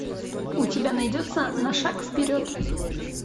у тебя найдется на шаг вперед